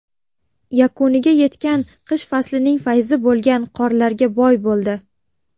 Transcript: Yakuniga yetgan qish faslning fayzi bo‘lgan qorlarga boy bo‘ldi.